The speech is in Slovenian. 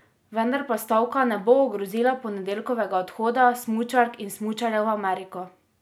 Vendar pa stavka ne bo ogrozila ponedeljkovega odhoda smučark in smučarjev v Ameriko.